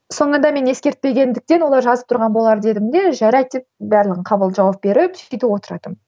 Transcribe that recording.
соңында мен ескертпегендіктен олар жазып тұрған болар дедім де жарайды деп бәрін жауап беріп сөйтіп отыратынмын